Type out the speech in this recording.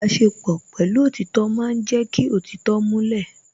Ìbáṣepọ̀ pẹ̀lú òtítọ́ ma ń jẹ́ kí òtítọ́ múlẹ̀